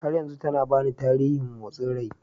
har yanzu tana bani batirin motsin rai